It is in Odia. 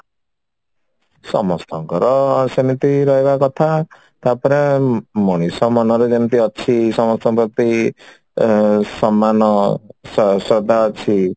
ସମସ୍ତଙ୍କର ସେମିତି ରହିବା କଥା ତାପରେ ମଣିଷ ମନରେ ଯେମିତି ଅଛି ସମସ୍ତଙ୍କ ପ୍ରତି ଅ ସମାନ ସ ଶ୍ରଦ୍ଧା ଅଛି